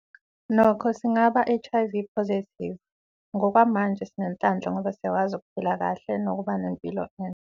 Nokho singaba HIV positive, ngokwamanje sinenhlanhla ngoba siyakwazi ukuphila kahle nokuba nempilo